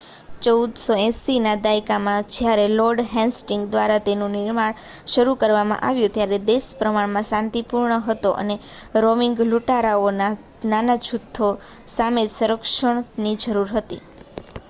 1480ના દાયકામાં જ્યારે Lord Hastings દ્વારા તેનું નિર્માણ શરૂ કરવામાં આવ્યું ત્યારે દેશ પ્રમાણમાં શાંતિપૂર્ણ હતો અને રોવિંગ લૂંટારાઓના નાના જૂથો સામે જ સંરક્ષણની જરૂર હતી